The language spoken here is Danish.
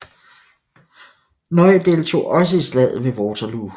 Ney deltog også i Slaget ved Waterloo